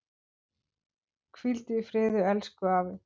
Hvíldu í friði elsku afi.